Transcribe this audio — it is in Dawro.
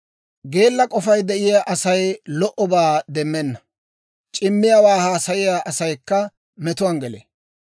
Geella k'ofay de'iyaa Asay lo"obaa demmenna; c'immiyaawaa haasayiyaa asaykka metuwaan gelee.